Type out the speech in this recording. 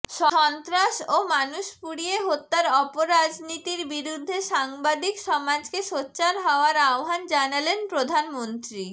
সন্ত্রাস ও মানুষ পুড়িয়ে হত্যার অপরাজনীতির বিরুদ্ধে সাংবাদিক সমাজকে সোচ্চার হওয়ার আহ্বান জানালেন প্রধানমন্ত্রী